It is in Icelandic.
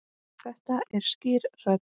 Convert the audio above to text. Þetta er skýr rödd.